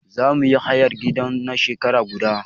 Za mu yi hayar gidan na shekara guda.